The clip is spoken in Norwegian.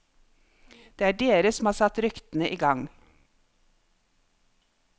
Det er dere som har satt ryktene i gang.